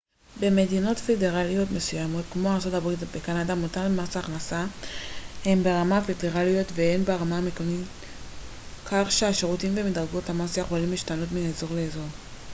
במדינות פדרליות מסוימות כמו ארצות הברית וקנדה מוטל מס הכנסה הן ברמה הפדרלית והן ברמה המקומית כך שהשיעורים ומדרגות המס יכולים להשתנות מאזור לאזור